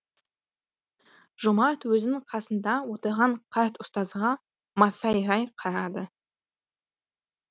жомарт өзінің қасында отырған қарт ұстазға масайрай қарады